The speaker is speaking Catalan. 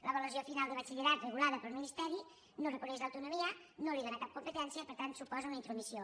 l’avaluació final de batxillerat regulada pel ministeri no reconeix l’autonomia no li dóna cap competència per tant suposa una intromissió